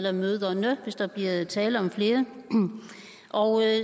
eller møderne hvis der er tale om flere og